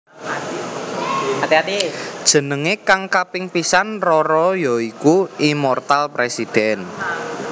Jenengé kang kaping pisan RoRo ya iku Immortal President